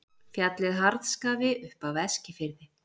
Fjallið Harðskafi upp af Eskifirði.